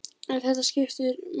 En þetta skiptir máli.